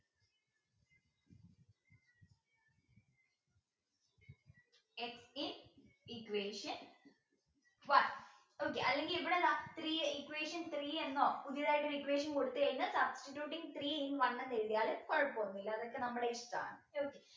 equation one okay അല്ലെങ്കിൽ ഇവിടെ എന്താ three equation three എന്നോ പുതിയതായിട്ട് ഒരു equation കൊടുത്തുകഴിഞ്ഞാൽ substituting three in one എന്നെഴുതിയാൽ കുഴപ്പമൊന്നുമില്ല അതൊക്കെ നമ്മുടെ ഇഷ്ടമാണ് okay